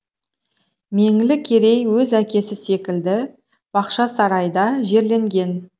меңлі керей өз әкесі секілді бақшасарайда жерленген